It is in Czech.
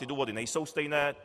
Ty důvody nejsou stejné.